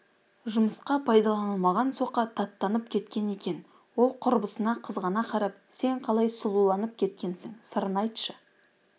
жұмысқа пайдаланылмаған соқа таттанып кеткен екен ол құрбысына қызғана қарап сен қалай сұлуланып кеткенсің сырын айтшы